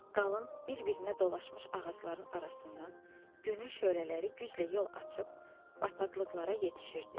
Qalın, bir-birinə dolaşmış ağacların arasından günün şölələri güclə yol açıb bataqlıqlara yetişirdi.